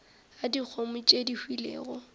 a dikgomo tše di hwilego